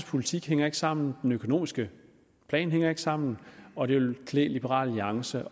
politik hænger ikke sammen den økonomiske plan hænger ikke sammen og det ville klæde liberal alliance